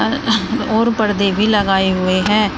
और पर्दे भी लगाए हुए हैं।